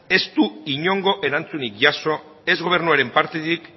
ez du inongo erantzunik jaso ez gobernuaren partetik